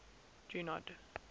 junod